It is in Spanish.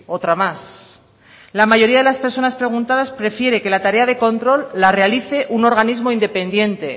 otra más la mayoría de las personas preguntadas prefiere que la tarea de control la realice un organismo independiente